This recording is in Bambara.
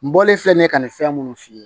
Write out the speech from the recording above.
N bɔlen filɛ nin ye ka nin fɛn minnu f'i ye